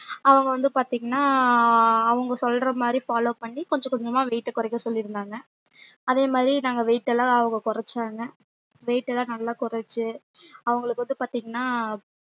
அவங்க வந்து பாத்திங்கன்னா அவங்க சொல்றமாறி follow பண்ணி கொஞ்சம் கொஞ்சமா weight ஆ கொறைக்க சொல்லிருந்தாங்க அதே மாறி நாங்க weight ல அவங்க கொறச்சாங்க weight லா நல்லா கொறைச்சு அவங்களுக்கு வந்து பாத்திங்கன்னா